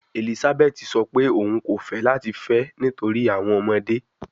Elizabeth sọ pe oun ko fẹ lati fẹ nitori awọn ọmọde